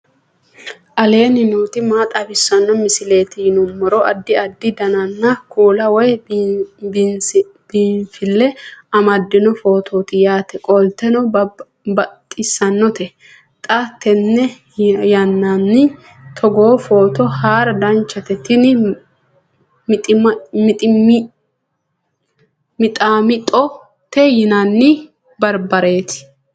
aleenni nooti maa xawisanno misileeti yinummoro addi addi dananna kuula woy biinfille amaddino footooti yaate qoltenno baxissannote xa tenne yannanni togoo footo haara danchate tini mixaammixote yinanni barbareeti